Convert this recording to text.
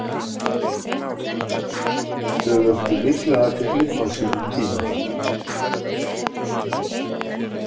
Þau vöktu mikla athygli á sínum tíma.